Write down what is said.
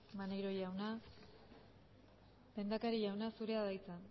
maneiro jauna lehendakari jauna zurea da hitza